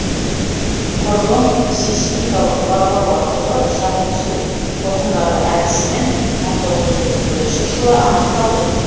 құрылым сейсмикалық барлау арқылы шағылысу толқындары әдісімен мың тоғыз жүз отыз бірінші жылы анықталды